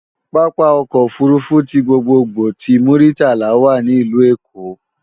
Pápá ọkọ̀ òfurufú ti gbogbogbò ti Muritala wà ní ìlú Èkó